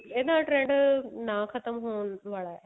ਇਹ trend ਨਾ ਖਤਮ ਹੋਣ ਵਾਲਾ